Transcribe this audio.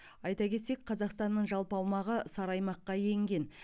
айта кетсек қазақстанның жалпы аумағы сары аймаққа енген